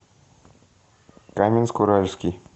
каменск уральский